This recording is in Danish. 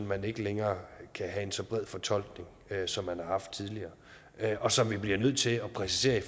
man ikke længere kan have en så bred fortolkning som man har haft tidligere og som vi bliver nødt til at præcisere i